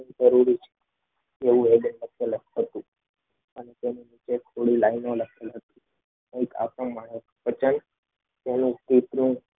અને તેની નીચે થોડી લાઈનો લખેલી હતી.